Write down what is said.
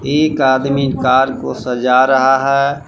एक आदमी कार को सजा रहा है।